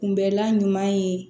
Kunbɛlan ɲuman ye